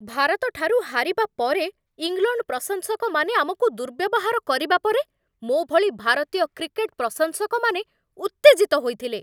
ଭାରତଠାରୁ ହାରିବା ପରେ ଇଂଲଣ୍ଡ ପ୍ରଶଂସକମାନେ ଆମକୁ ଦୁର୍ବ୍ୟବହାର କରିବା ପରେ ମୋ ଭଳି ଭାରତୀୟ କ୍ରିକେଟ୍ ପ୍ରଶଂସକମାନେ ଉତ୍ତେଜିତ ହୋଇଥିଲେ।